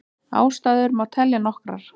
Ástæður má telja nokkrar.